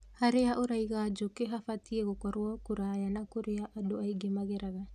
Harĩa ũraiga njũkĩ habatiĩ gũkorwo kũraya na kũrĩa andũ aingĩ mageraga